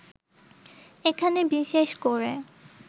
এখানে বিশেষ করে